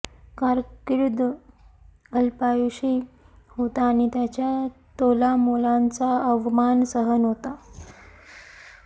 कारकीर्द अल्पायुषी होता आणि त्याच्या तोलामोलांचा अवमान सहन होता